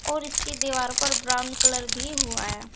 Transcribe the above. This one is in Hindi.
और इसकी दीवार पर ब्राउन कलर भी हुआ है।